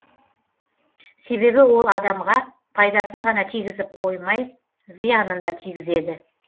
себебі ол адамға пайдасын ғана тигізіп қоймай зиянын да тигізеді